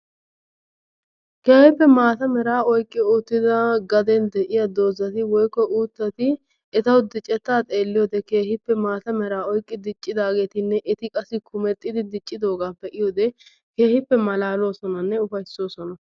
Keehippe maata meraa oyiqqi uttida garden de'iya dozati woykko uuttati etawu dicettaa xeelliyode keehippe maata meraa oyiqqi diccidaageetinne eti qassi kumexxi diccidoogaa be'iyode keehippe malaaloosonanne ufayissoosona